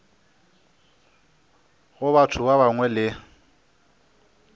go batho ba bangwe le